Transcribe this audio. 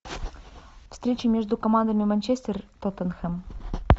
встреча между командами манчестер и тоттенхэм